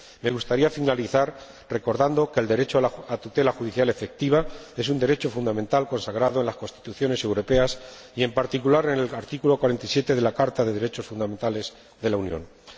Me gustaría finalizar recordando que el derecho a la tutela judicial efectiva es un derecho fundamental consagrado en las constituciones europeas y, en particular, en el artículo 47 de de la Carta de los Derechos Fundamentales de la Unión Europea.